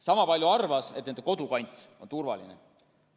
Sama palju arvas, et nende kodukant on turvaline.